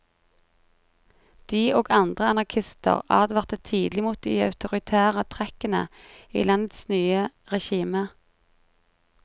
De, og andre anarkister advarte tidlig mot de autoritære trekkene i landets nye regime.